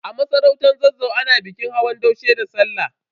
A masarautar Zazzau, ana bikin hawan daushe da Sallah.